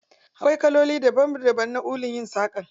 Akwai kaloli daban daban na ulun yin saƙa.